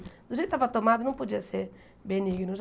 Do jeito que ele tava tomado, não podia ser benigno.